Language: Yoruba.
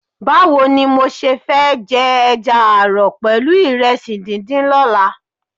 Báwo ni mo ṣe fẹ́ jẹ ẹja ààrọ̀ pẹ̀lú ìrẹsì díndín lọ́la?